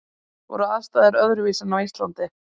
Voru aðstæður öðruvísi en á Íslandi?